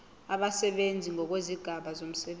abasebenzi ngokwezigaba zomsebenzi